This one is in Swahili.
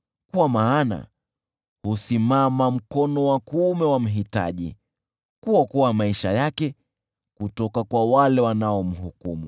Kwa maana husimama mkono wa kuume wa mhitaji, kuokoa maisha yake kutoka kwa wale wanaomhukumu.